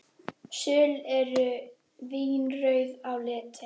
Söl eru vínrauð á litinn.